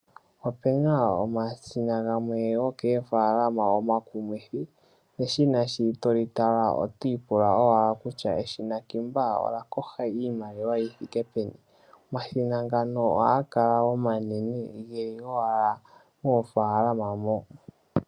Opena omashina gamwe gokoofaalama omakumithi neshina sho toli tala otwiipula kutya eshina kiimba olya kosha iimaliwa yithike peni. Omashina ngano ohaga kala omanene geli owala moofaalama mo.